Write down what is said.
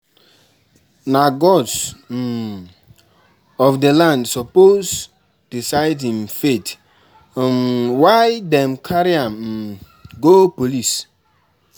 Na gods um of di land suppose decide im fate, um why dem carry am um go police?